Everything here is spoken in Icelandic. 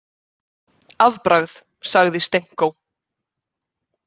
Afbragð, sagði Stenko.